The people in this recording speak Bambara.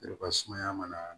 sumaya mana